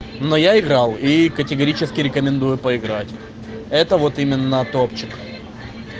но я играл и категорически рекомендую поиграть это вот именно топчик